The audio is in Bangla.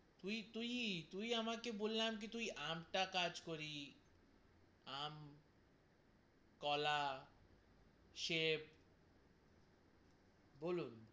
তুই তুই তুই আমাকে বললাম কে তুই আমটা কাজ করি আম, কলা, সবে, বলুন,